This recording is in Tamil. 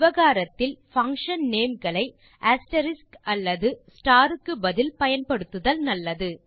விவகாரத்தில் பங்ஷன் நேம்ஸ் களை அஸ்டெரிஸ்க் அல்லது ஸ்டார் க்கு பதில் பயன்படுத்துதல் நல்லது